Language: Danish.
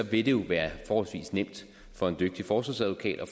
vil det jo være forholdsvis nemt for en dygtig forsvarsadvokat at